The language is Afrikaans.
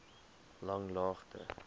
langlaagte